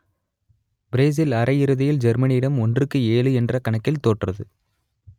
Brazil அரையிறுதியில் ஜெர்மனியிடம் ஒன்றுக்கு ஏழு என்ற கணக்கில் தோற்றது